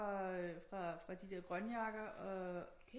Fra de der Grønjakkere